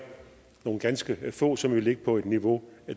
nogle ganske få som vil ligge på et niveau